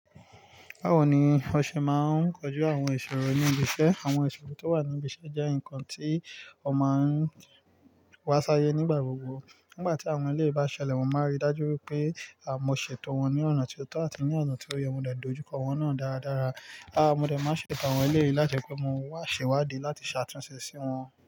Báwo ni ọ ṣe máa ń koju àwọn ìṣòro ní ibi iṣẹ́? Àwọn ìṣòro tó wà ní ibi iṣẹ́ jẹ́ ǹkan tí ó máa ń wá sáyé nígbà gbogbo. Nígbà tí àwọn ẹlẹ́yìi bá ṣẹlẹ̀, mọ máa n rí dájú pé mó ṣètò wọn ní ọ̀nà tó tọ́ àti ní ọ̀nà tó yẹ. Mo dẹ dojú kọ wọn náà dáradára. A mọ dẹ máa ṣètò àwọn ẹlẹ́yiì láti pé mọ wà ṣe wádí láti ṣàtúnṣe sí wọn.